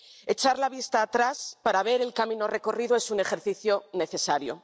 Echar la vista atrás para ver el camino recorrido es un ejercicio necesario.